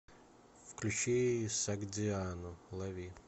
включи согдиану лови